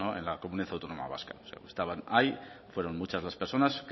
en la comunidad autónoma vasca estaban ahí fueron muchas las personas